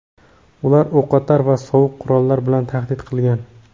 Ular o‘qotar va sovuq qurollar bilan tahdid qilgan.